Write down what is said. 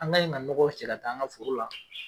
An ka ɲe ka nɔgɔ cɛ ka tan an ka foro la.